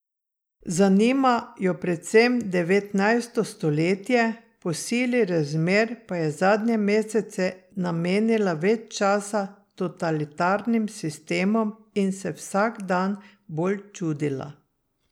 Zanima jo predvsem devetnajsto stoletje, po sili razmer pa je zadnje mesece namenila več časa totalitarnim sistemom in se vsak dan bolj čudila.